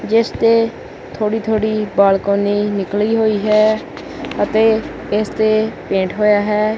ਜਿੱਸ ਤੇ ਥੋੜੀ ਥੋੜੀ ਬਾਲਕੋਨੀ ਨਿਕਲੀ ਹੋਈ ਹੈ ਅਤੇ ਇੱਸ ਤੇ ਪੇਂਟ ਹੋਯਾ ਹੈ।